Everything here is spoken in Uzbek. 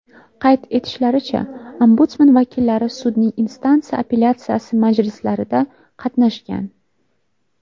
Qayd etishlaricha, Ombudsman vakillari sudning instansiya apellyatsiyasi majlislarida qatnashgan.